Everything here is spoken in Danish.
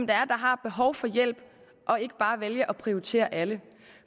der har behov for hjælp og ikke bare vælge at prioritere alle